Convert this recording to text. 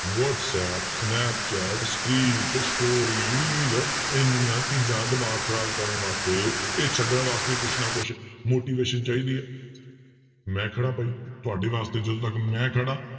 WhatsApp, Snapchat, streak, story, reel ਇੰਨੀਆਂ ਚੀਜ਼ਾਂ ਦਿਮਾਗ ਖ਼ਰਾਬ ਕਰਨ ਵਾਸਤੇ ਇਹ ਛੱਡਣ ਵਾਸਤੇ ਕੁਛ ਨਾ ਕੁਛ motivation ਚਾਹੀਦੀ ਹੈ ਮੈਂ ਖੜਾ ਭਾਈ ਤੁਹਾਡੇ ਵਾਸਤੇ ਜਦੋਂ ਤੱਕ ਮੈਂ ਖੜਾਂ